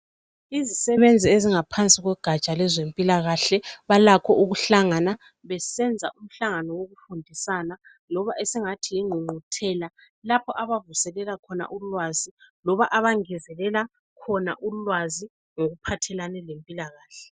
Izisebenzi ezingaphansi kogaja lwezempilakahle balakho ukuhlangana besenza umhlangano wokufundisana loba esingathi yingqungquthela lapho abavuselela khona ulwazi loba abangezelela khona ulwazi ngokuphathelane lempilakahle.